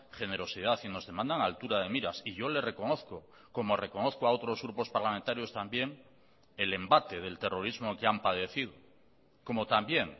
generosidad y nos demandan altura de miras y yo le reconozco como reconozco a otros grupos parlamentarios también el embate del terrorismo que han padecido como también